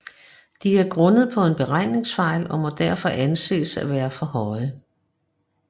De er grundet på en beregningsfejl og må derfor anses at være for høje